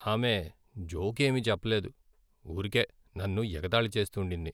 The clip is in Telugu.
ఆమె జోక్ ఏమీ చెప్ప లేదు, ఊరికే నన్ను ఎగతాళి చేస్తుండింది.